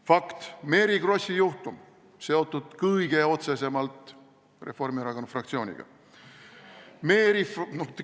Fakt: Mary Krossi juhtum on seotud kõige otsesemalt Reformierakonna fraktsiooniga.